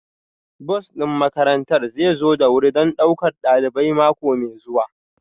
Bus ɗin makarantar zai zo da wuri don ɗaukar ɗalibai mako mai zuwa